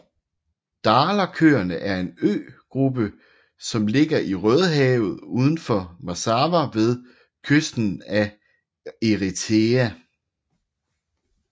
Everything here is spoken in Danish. Dahlakøerne er en øgruppe som ligger i Rødehavet udenfor Massawa ved kysten af Eritrea